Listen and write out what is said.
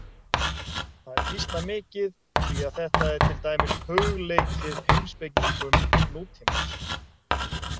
Það er býsna mikið því að þetta er til dæmis hugleikið heimspekingum nútímans.